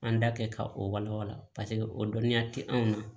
An da kɛ ka o wala wala paseke o dɔnniya tɛ anw na